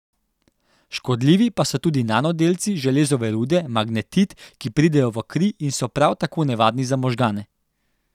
Škodljivi pa so tudi nanodelci železove rude magnetit, ki pridejo v kri in so prav tako nevarni za možgane.